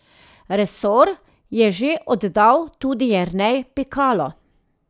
Resor je že oddal tudi Jernej Pikalo.